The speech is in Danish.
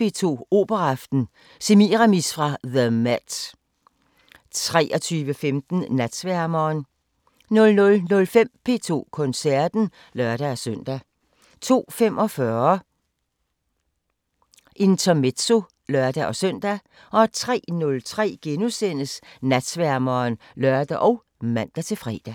P2 Operaaften: Semiramis fra the MET 23:15: Natsværmeren 00:05: P2 Koncerten (lør-søn) 02:45: Intermezzo (lør-søn) 03:03: Natsværmeren *(lør og man-fre)